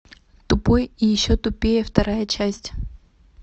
тупой и еще тупее вторая часть